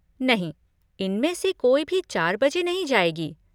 नहीं, इनमें से कोई भी चार बजे नहीं जाएगी।